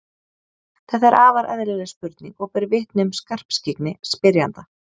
Þetta er afar eðlileg spurning og ber vitni um skarpskyggni spyrjanda.